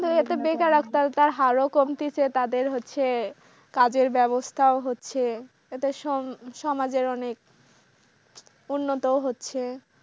তার হার ও কমতিছে তাদের হচ্ছে কাজের ব্যবস্থাও হচ্ছে এতে সমাজের অনেক উন্নতও হচ্ছে।